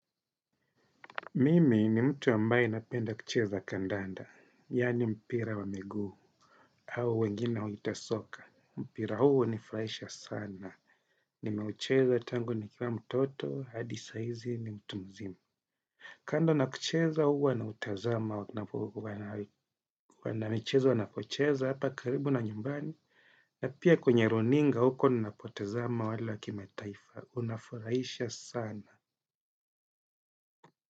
Mimi, ni mtu ambaye napenda kucheza kandanda, yani mpira wa miguu. Au wengine huita soka. Mpira huu hunifurahisha sana. Nimeucheza tangu nikiwa mtoto, hadi saizi ni mtu mzima. Kando na kucheza hua nautazama, wanamichezo wanapocheza hapa karibu na nyumbani. Na pia kwenye runinga huko ninapotazama wale wa kimataifa. Unafurahisha sana.